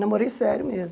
Namorei sério mesmo.